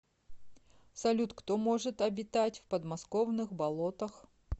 салют кто может обитать в подмосковных болотах